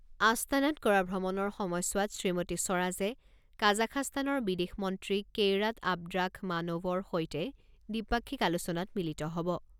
আস্তানাত কৰা ভ্ৰমণৰ সময়ছোৱাত শ্ৰীমতী স্বৰাজে কাজাখাস্তানৰ বিদেশ মন্ত্ৰী কেইৰাট আবদ্ৰাখমান'ভৰ সৈতে দ্বিপাক্ষিক আলোচনাত মিলিত হ'ব।